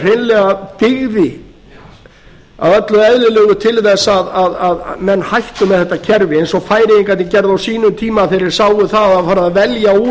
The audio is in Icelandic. hreinlega dygði að öllu eðlilegt til þess að menn hættu með þetta kerfi eins og færeyingarnir gerðu á sínum tíma þegar þeir sáu að það var farið að velja úr